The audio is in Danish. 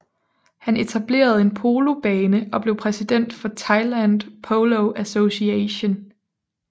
Han etablerede en polobane og blev præsident for Thailand Polo Association